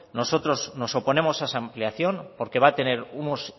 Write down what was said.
nosotros nos oponemos a esa ampliación porque va a tener unos